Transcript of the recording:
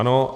Ano.